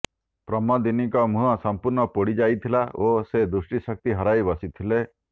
ପ୍ରମୋଦିନୀଙ୍କ ମୁହଁ ସମ୍ପୂର୍ଣ୍ଣ ପୋଡ଼ି ଯାଇଥିଲା ଓ ସେ ଦୃଷ୍ଟିଶକ୍ତି ହରାଇ ବସିଥିଲେ